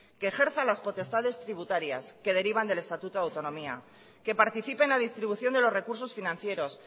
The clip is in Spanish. que ejerza las potestades tributarias que derivan del estatuto de autonomía que participe en la distribución de los recursos financieros